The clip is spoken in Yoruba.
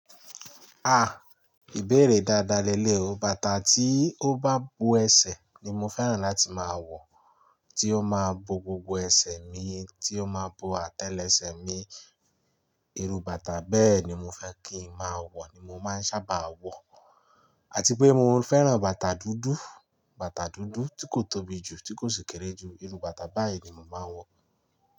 Ah! Ìbéèrè dáadáa léleyi oo. Bàtà tí ó bá bo ẹsẹ̀ ni mo fẹ́ràn láti máa wọ̀, tí ó máa bo gbogbo ẹsẹ̀ mi, tí ó máa bo àtẹ́lẹsẹ̀ mi. Iru bàtà bẹ́ẹ̀ ni mo fẹ́ kí ń máa wọ̀ ni mo máa ń sábà wọ̀. Àti pé mo fẹ́ràn bàtà dúdú, bàtà dúdú tí kò tóbi jù, tí kò sì kéré jù. Iru bàtà báyìí ni mo máa ń wọ̀